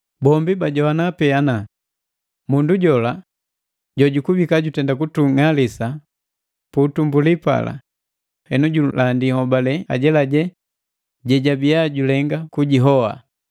Bombi bajoana pena ana: “Mundu jola jojikubika jutenda kutung'alisa pu utumbuli, henu julandi nhobalelu ajelaje jejabiya julenga kujihoa.”